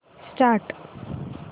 start